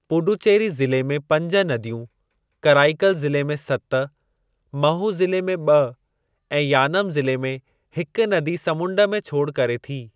पुडुचेरी ज़िले में पंज नदियूं, कराईकल ज़िले में सत, महू ज़िले में ॿ, ऐं यानम ज़िले में हिक नदी समंड में छोड़ करे थी।